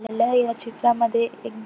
मला ह्या चित्रामध्ये एक --